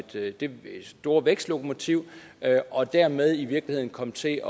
det det store vækstlokomotiv og dermed i virkeligheden komme til at